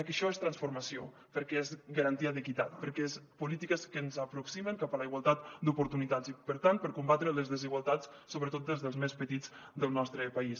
que això és transformació perquè és garantia d’equitat perquè són polítiques que ens aproximen cap a la igualtat d’oportunitats i per tant per combatre les desigualtats sobretot dels més petits del nostre país